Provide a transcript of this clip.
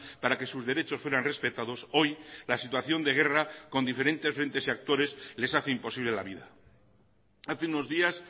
para que sus derechos fueran respetados hoy la situación de guerra con diferentes frentes y actores les hace imposible la vida hace unos días